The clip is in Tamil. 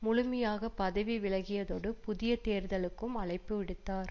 முழுமையாக பதவி விலகியதோடு புதிய தேர்தலுக்கும் அழைப்பு விடுத்தார்